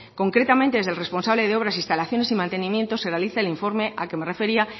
concretamente desde el responsable de obras instalaciones y mantenimiento se realiza el informe al que me refería